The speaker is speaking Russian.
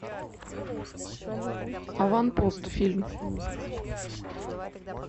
аванпост фильм